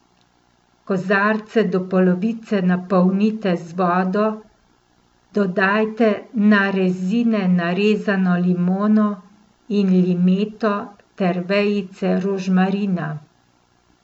Kozarce do polovice napolnite z vodo, dodajte na rezine narezano limono in limeto ter vejice rožmarina.